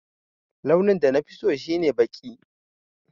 Launin da nafi so shi ne baƙi.